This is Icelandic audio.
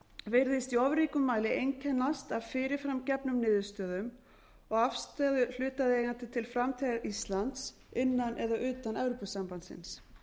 virðist í of ríkum mæli einkennast af fyrir fram gefnum niðurstöðum og afstöðu hlutaðeigandi til framtíðar íslands innan eða utan evrópusambandsins